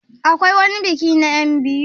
Akwai wani biki na enbiyu?